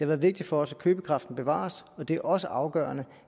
været vigtigt for os at købekraften bevares og det har også været afgørende